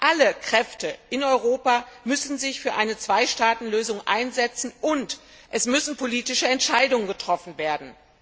Alle Kräfte in Europa müssen sich für eine Zwei Staaten Lösung einsetzen, und es müssen politische Entscheidungen getroffen werden.